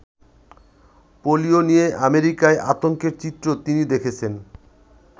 Polio নিয়ে আমেরিকায় আতঙ্কের চিত্র তিনি দেখেছেন।